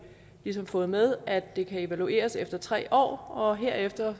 har fået med at det kan evalueres efter tre år og herefter